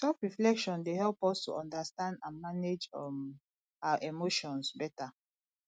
selfreflection dey help us to understand and manage um our emotions beta